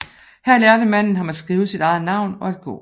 Her lærte manden ham at skrive sit eget navn og at gå